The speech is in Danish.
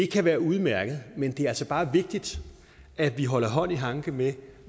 kan være udmærket men det er altså bare vigtigt at vi holder hånd i hanke med